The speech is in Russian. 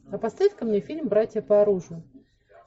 а поставь ка мне фильм братья по оружию